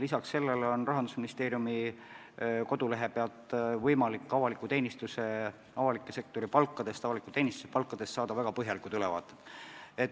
Lisaks sellele on Rahandusministeeriumi kodulehel võimalik saada väga põhjalik ülevaade avaliku teenistuse, avaliku sektori palkadest.